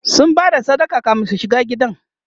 sun Bada sadaka kamin su shiga gidan